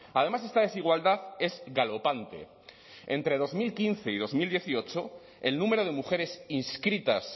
además esta desigualdad es galopante entre dos mil quince y dos mil dieciocho el número de mujeres inscritas